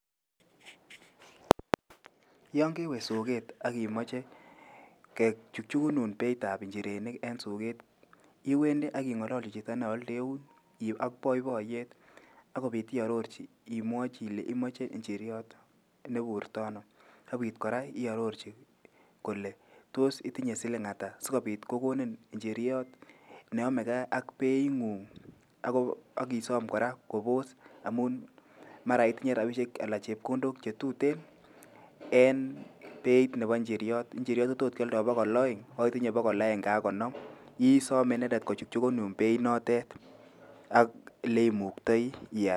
Yangewe sogeet akimojei kejujunun beitab njirenik en soket iwendi aking'ololoji chito nealdeun iwe ak boiboiyet imwaji anan iarorji ilenji imachei njiryot neburtano. Akiit kora iarorjin ileji tos itinye siling ata sikobit kokonin njiryot neyamegei ak being'ug'. Ak isom kora koposs amuin mara itinye rabishek anan chepkondok che tuten en beiit nebo njiryot. Njiryot kotot kialdo pakal aeng' ak itinye pakal agenge ak konom. Isomei inendet kojukjukanun bei nandet ak leimuktai ial.